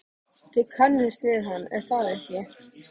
Þið kannist við hann, er það ekki?